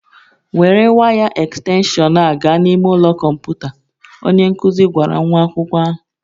Were waya ekstenshọn a gaa n'ime ụlọ kọmputa, onye nkuzi gwara nwa akwụkwọ ahụ